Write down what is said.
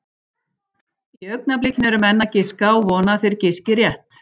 Í augnablikinu eru menn að giska og vona að þeir giski rétt.